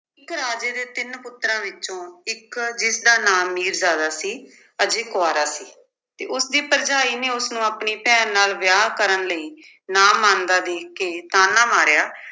ਇੱਕ ਰਾਜੇ ਦੇ ਤਿੰਨ ਪੁੱਤਰਾਂ ਵਿੱਚੋਂ, ਇੱਕ ਜਿਸਦਾ ਨਾਮ ਮੀਰਜ਼ਾਦਾ ਸੀ, ਅਜੇ ਕੁਆਰਾ ਸੀ ਤੇ ਉਸਦੀ ਭਰਜਾਈ ਨੇ ਉਸਨੂੰ ਆਪਣੀ ਭੈਣ ਨਾਲ ਵਿਆਹ ਕਰਨ ਲਈ ਨਾ ਮੰਨਦਾ ਵੇਖ ਕੇ ਤਾਨਾ ਮਾਰਿਆ